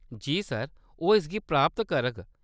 जी, sir, ओह्‌‌ इसगी प्राप्त करग।